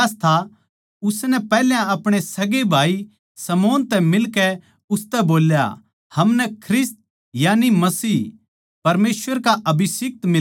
उसनै पैहल्या अपणे सगै भाई शमौन तै मिलकै उसतै बोल्या हमनै ख्रिस्त यानि मसीह परमेसवर का अभिषिक्‍त मिलग्या